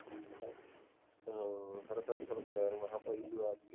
ਹਾਂ ਮੈਂ ਕਿਹਾ ਭਾਈ